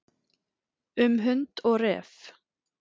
Um hund og ref.